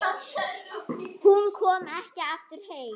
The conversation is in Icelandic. Hún kom ekki aftur heim.